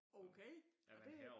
Okay og det